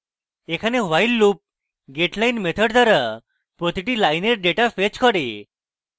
এখানে while loop getline method দ্বারা প্রতিটি লাইনের ডেটা ফেচ করে